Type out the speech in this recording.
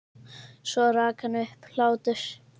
Svo rak hann upp hlátur.